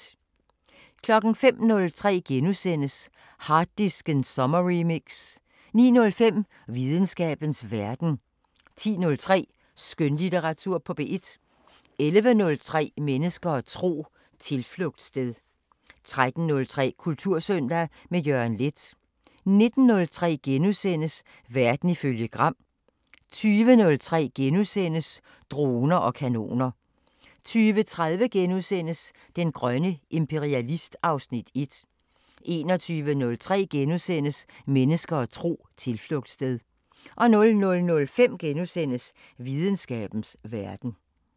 05:03: Harddisken sommerremix * 09:05: Videnskabens Verden 10:03: Skønlitteratur på P1 11:03: Mennesker og tro: Tilflugtssted 13:03: Kultursøndag – med Jørgen Leth 19:03: Verden ifølge Gram * 20:03: Droner og kanoner * 20:30: Den grønne imperialist (Afs. 1)* 21:03: Mennesker og tro: Tilflugtssted * 00:05: Videnskabens Verden *